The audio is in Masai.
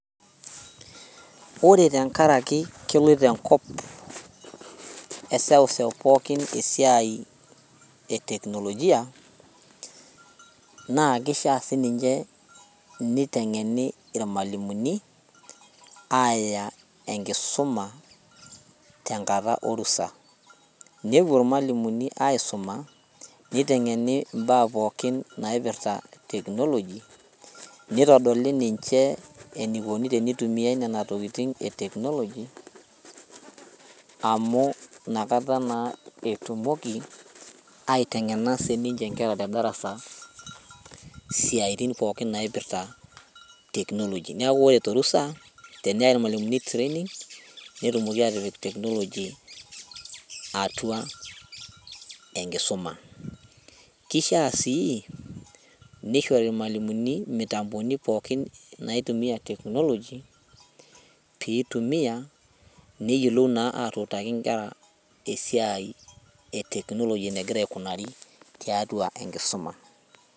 Ore tenkarake keloito enkop eseuseu pookin esiai e teknolojia naa kishia sininche niteng'eni irmalimuni aaya enkisuma tenkata orusa nepuo irmalimuni aisuma niteng'eni imbaa pookin naipirrta technology nitodoli ninche enikoni tenituimiae nena tokiting e technology amu inakata naa etumoki aiteng'ena sininche inkera te darasa isiaitin pookin naipirrta technology niaku ore torusa teneyai irmalimuni training netumoki atipik technology atua enkisuma kishia sii nishori irmalimuni imitamboni pookin naitumia technology piitumia neyiolou naa atutaki inkera esiai e technology enegira aikunari tiatua enkisuma.